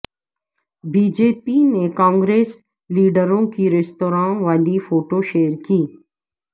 B J پی نےکانگریس لیڈروں کی ریستوراں والی فوٹو شیئر کی